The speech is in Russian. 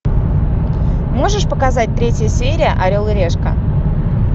можешь показать третья серия орел и решка